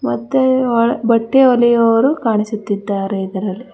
ಮತ್ತೆ ಹ ಬಟ್ಟೆ ಹೋಲಿಯುವವರು ಕಾಣಿಸುತ್ತಿದ್ದಾರೆ ಇದ್ರಲ್ಲಿ.